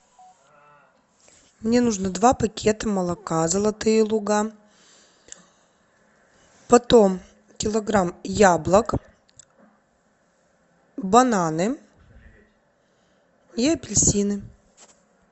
мне нужно два пакета молока золотые луга потом килограмм яблок бананы и апельсины